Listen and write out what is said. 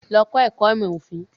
Lọ kọ́ ẹ̀kọ́ ìmọ̀ òfin.